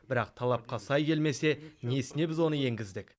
бірақ талапқа сай келмесе несіне біз оны енгіздік